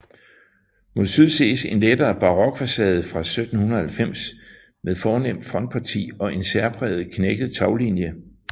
Mod syd ses en lettere barokfacade fra 1790 med fornemt frontparti og en særpræget knækket taglinie